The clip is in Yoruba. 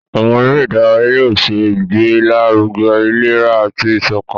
Àwọn eré ìdárayá yóò ṣe ìgbélaruge ìlera àti iṣọkan.